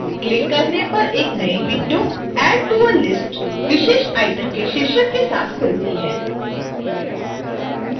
click करने पर एक नई window add to a list विशेष item के शीर्षक के साथ खुलती है